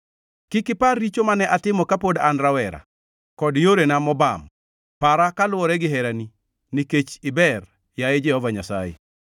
Kik ipar richo mane atimo kapod an rawere kod yorena mobam; para kaluwore gi herani, nikech iber, yaye Jehova Nyasaye.